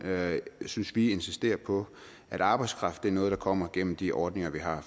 synes vi insistere på at arbejdskraft er noget der kommer gennem de ordninger vi har